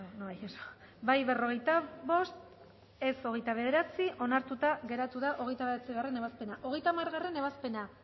izan da hirurogeita hamalau eman dugu bozka berrogeita bost boto aldekoa veintinueve contra onartuta geratu da hogeita bederatzigarrena ebazpena hogeita hamargarrena ebazpena